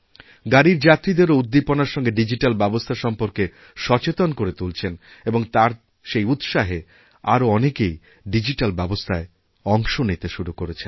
গাড়ীর যাত্রীদেরও উদ্দীপনার সঙ্গে ডিজিট্যালব্যবস্থা সম্পর্কে সচেতন করে তুলছেন এবং তার সেই উৎসাহে আরও অনেকেই ডিজিট্যালব্যবস্থায় অংশ নিতে শুরু করেছেন